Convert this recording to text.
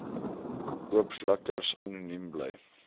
oopvlekkers anoniem bly